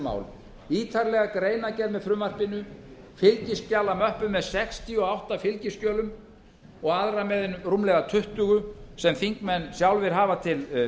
máli ítarlega greinargerð með frumvarpinu fylgiskjalamöppu með sextíu og átta fylgiskjölum og öðrum með rúmlega tuttugu sem þingmenn sjálfir hafa til